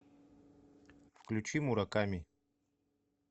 включи мураками